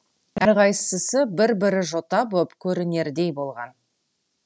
әрқайсысы бір бір жота боп көрінердей болған